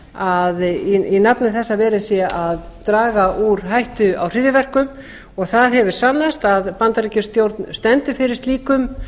að verið sé að draga úr hættu á hryðjuverkum það hefur sannast að bandaríkjastjórn stendur fyrir slíkum